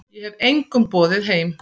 Ég hef engum boðið heim.